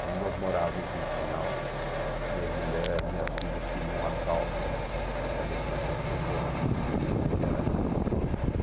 Quando nós morávamos em Pinhal, minhas mulher, minha filhas queriam a calça, naquela naquele tempo, ah, como é que era, tinha uma marca...